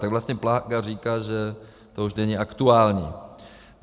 Tak vlastně Plaga říká, že to už není aktuální.